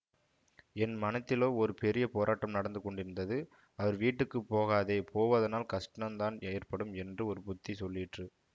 என் மனத்திலோ ஒரு பெரிய போராட்டம் நடந்து கொண்டிருந்தது அவர் வீட்டுக்கு போகாதே போவதனால் கஷ்டந்தான் ஏற்படும் என்று ஒரு புத்தி சொல்லிற்று